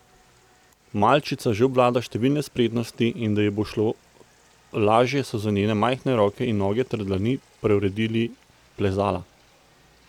Malčica že obvlada številne spretnosti in da ji bo šlo lažje so za njene majhne roke in noge ter dlani preuredili plezala.